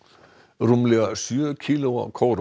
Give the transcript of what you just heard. rúmlega sjö kílóa kóróna